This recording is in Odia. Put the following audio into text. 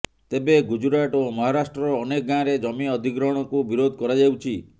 ତେବେ ଗୁଜୁରାଟ ଓ ମହାରାଷ୍ଟ୍ରର ଅନେକ ଗାଁରେ ଜମି ଅଧିଗ୍ରହଣ କୁ ବିରୋଧ କରାଯାଉଛି